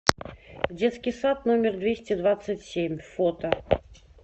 детский сад номер двести двадцать семь фото